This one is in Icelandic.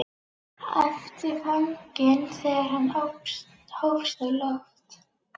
æpti fanginn þegar hann hófst á loft.